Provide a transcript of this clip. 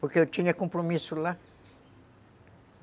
Porque eu tinha compromisso lá.